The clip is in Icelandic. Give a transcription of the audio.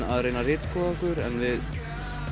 að reyna að ritskoða okkur en við